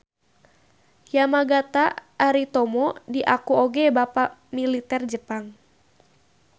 Yamagata Aritomo diaku oge bapak militer Jepang.